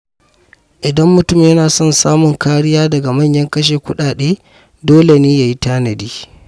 Idan mutum yana son samun kariya daga manyan kashe-kuɗi, dole ne ya yi tanadi.